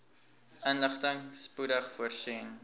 inligting spoedig voorsien